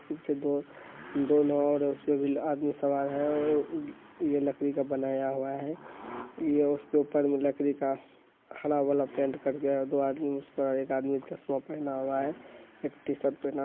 दो दो नाँव और हैं उसपे भी आदमी सवार है और ये लकड़ी का बनाया हुआ है ये उसके ऊपर मे लड़की का हरा वाला पेंट किया गया है। दो आदमी उसपर एक आदमी ने चशमा पेहना हुआ है एक टीशर्ट पहना--